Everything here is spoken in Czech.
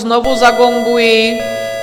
Znovu zagonguji.